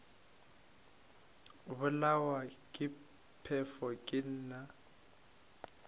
bolawa ke phefo ke na